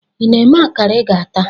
Ị na-eme akara ị ga-ata?